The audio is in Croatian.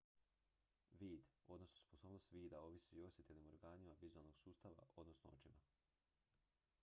vid odnosno sposobnost vida ovisi o osjetilnim organima vizualnog sustava odnosno očima